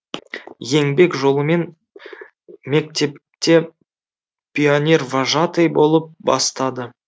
еңбек жолымен мектепте пионервожатый болып бастады